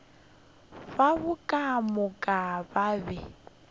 babo ka moka ba be